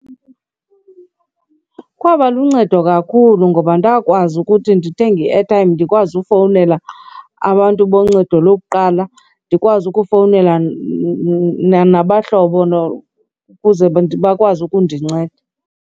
Kwaba luncedo kakhulu ngoba ndakwazi ukuthi ndithenge i-airtime ndikwazi ufowunela abantu boncedo lokuqala. Ndikwazi ukufowunela nabahlobo ukuze bakwazi ukundinceda.